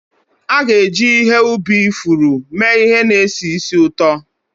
A ga-eji ihe ubi ifuru mee ihe na-esi ísì ụtọ.